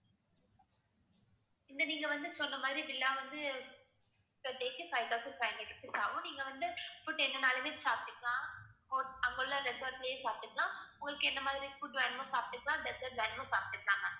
இந்த நீங்க வந்து சொன்ன மாதிரி villa வந்து per day க்கு five thousand five hundred rupees ஆகும். நீங்க வந்து food என்னென்னாலுமே சாப்பிட்டுக்கலாம் hot~ அங்க உள்ள resort லயே சாப்பிட்டுக்கலாம் உங்களுக்கு என்ன மாதிரி food வேணுமோ சாப்பிட்டுக்கலாம் dessert வேணுமோ சாப்பிட்டுக்கலாம் ma'am